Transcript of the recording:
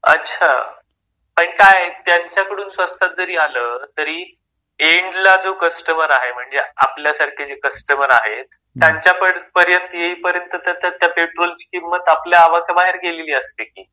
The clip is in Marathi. अच्छा पण काय त्यांच्या कडून स्वस्तात जरी आलं तरी एन्ड ला जो कस्टमर आहे, म्हणजे आपल्यासारखे जे कस्टमर आहेत, त्यांच्या पर्यंत येई पर्यंत त्या त्या पेट्रोलची किंमत आपल्या आवाक्या बाहेर गेलेली असते की.